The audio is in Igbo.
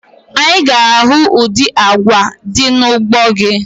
Anyị ga-ahụ ụdị agwa dị n'ugbo gị